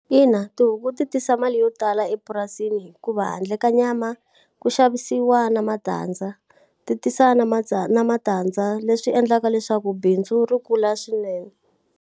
Ina, tihuku ti tisa mali yo tala epurasini hikuva handle ka nyama, ku xavisiwa na matandza. Ti tisa na na matandza leswi endlaka leswaku bindzu ri kula swinene.